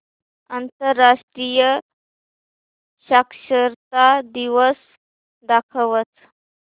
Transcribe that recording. आंतरराष्ट्रीय साक्षरता दिवस दाखवच